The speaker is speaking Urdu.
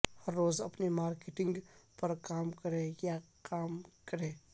ہر روز اپنی مارکیٹنگ پر کام کریں یا کام کریں